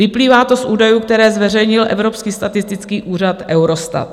Vyplývá to z údajů, které zveřejnil evropský statistický úřad Eurostat.